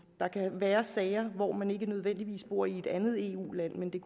kan være sager hvor man ikke nødvendigvis bor i et andet eu land men